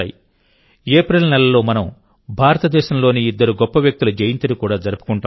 April నెలలో మనం భారతదేశంలోని ఇద్దరు గొప్ప వ్యక్తుల జయంతిని కూడా జరుపుకుంటాం